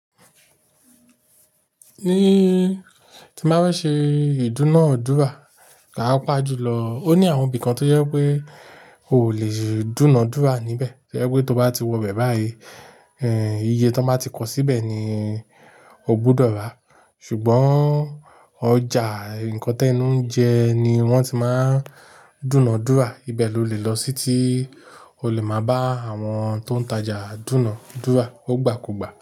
Ní tí máa bá fẹ ṣe ìdúnadúrà, pàá pà ju lọ. Ó ní àwọn ibi kan tó yẹ pé o lè dúnadúrà níbẹ̀. To yẹ pé tó bá ti wọ bẹ̀ báyìí, ẹ, iye tó báa ti kó síbẹ̀ ni o gbúdọ̀ rà. Ṣùgbọ́n ọjà nǹkan tó ẹnu ń jẹ ni wọ́n ti máa ń dúnadúrà. Ibẹ̀ lo lè lọ sí tí o lè máa bá àwọn tó ń tajà dúnadúrà. Ó gbà kò gbà.